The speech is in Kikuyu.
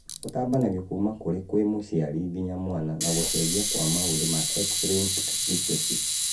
ũtambanagio kuma kũrĩ kwĩ mũciari nginya mwana na gũcenjia kwa maũthi ma X linked recessive